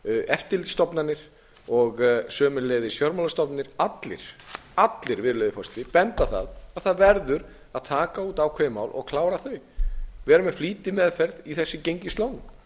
eftirlitsstofnanir og sömuleiðis fjármálastofnanir allir allir virðulegi forseti benda á það að það verður að taka út ákveðin mál og klára þau vera með flýtimeðferð í þessum gengislánum